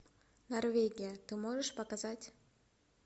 норвегия ты можешь показать